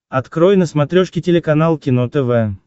открой на смотрешке телеканал кино тв